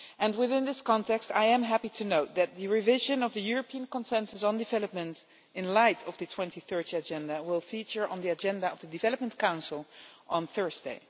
Within this context I am happy to note that revision of the European Consensus on Development in light of the 2030 Agenda will feature on the agenda of the Development Council on Thursday.